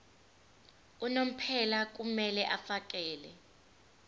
unomphela kumele afakele